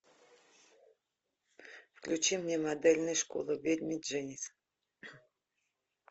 включи мне модельная школа ведьмы дженис